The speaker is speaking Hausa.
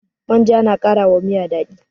Manja na kara wa miya daɗi